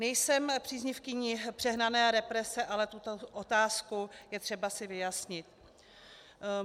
Nejsem příznivkyní přehnané represe, ale tuto otázku je třeba si vyjasnit.